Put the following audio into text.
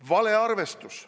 Valearvestus.